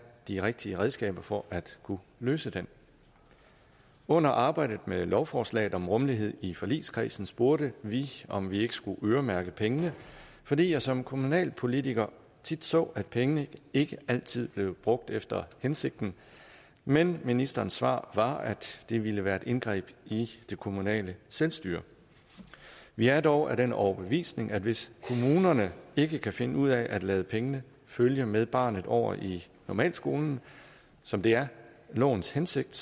de rigtige redskaber for at kunne løse den under arbejdet med lovforslaget om rummelighed i forligskredsen spurgte vi om vi ikke skulle øremærke pengene fordi jeg som kommunalpolitiker tit så at pengene ikke altid blev brugt efter hensigten men ministerens svar var at det ville være et indgreb i det kommunale selvstyre vi er dog af den overbevisning at hvis kommunerne ikke kan finde ud af at lade pengene følge med barnet over i normalskolen som det er lovens hensigt